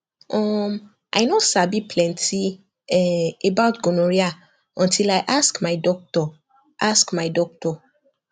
uhm i no sabi plenty um about gonorrhea until i ask my doctor ask my doctor